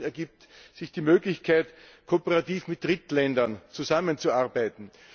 Des Weiteren ergibt sich die Möglichkeit, kooperativ mit Drittländern zusammenzuarbeiten.